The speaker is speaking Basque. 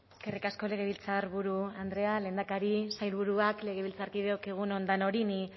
eskerrik asko legebiltzarburu andrea lehendakari sailburuak legebiltzarkideok egun on danori ni